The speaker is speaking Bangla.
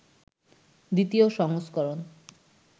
২য় সংস্করণ